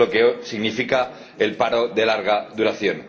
Eso es lo que significa el paro de larga duración.